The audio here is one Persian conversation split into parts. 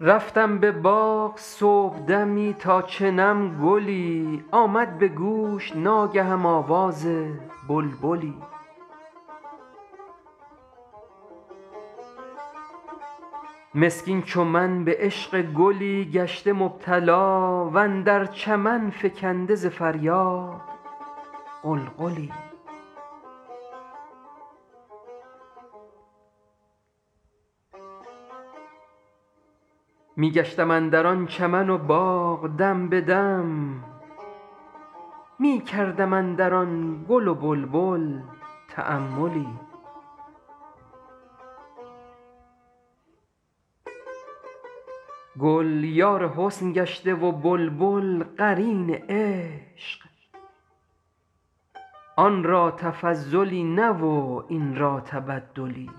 رفتم به باغ صبحدمی تا چنم گلی آمد به گوش ناگهم آواز بلبلی مسکین چو من به عشق گلی گشته مبتلا و اندر چمن فکنده ز فریاد غلغلی می گشتم اندر آن چمن و باغ دم به دم می کردم اندر آن گل و بلبل تاملی گل یار حسن گشته و بلبل قرین عشق آن را تفضلی نه و این را تبدلی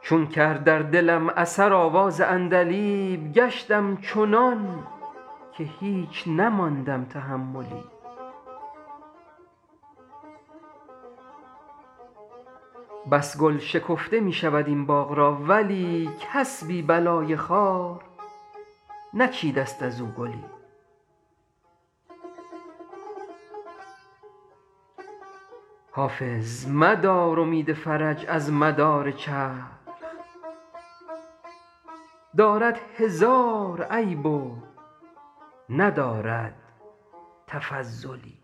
چون کرد در دلم اثر آواز عندلیب گشتم چنان که هیچ نماندم تحملی بس گل شکفته می شود این باغ را ولی کس بی بلای خار نچیده ست از او گلی حافظ مدار امید فرج از مدار چرخ دارد هزار عیب و ندارد تفضلی